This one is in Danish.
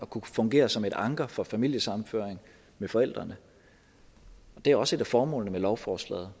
kunne fungere som et anker for familiesammenføring med forældrene det er også et af formålene med lovforslaget